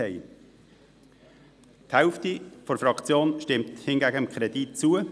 Die andere Hälfte der Fraktion stimmt dem Kredit hingegen zu.